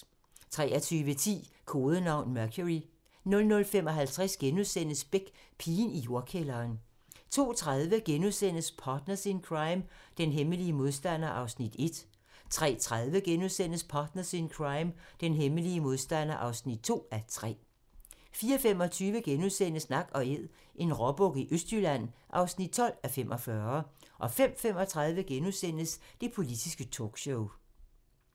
23:10: Kodenavn: Mercury 00:55: Beck: Pigen i jordkælderen * 02:30: Partners in Crime: Den hemmelige modstander (1:3)* 03:30: Partners in Crime: Den hemmelige modstander (2:3)* 04:25: Nak & Æd - en råbuk i Østjylland (12:45)* 05:35: Det politiske talkshow *